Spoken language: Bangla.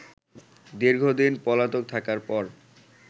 দীর্ঘদিন পলাতক থাকার পর